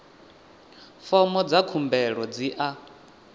fomo dza khumbelo dzi a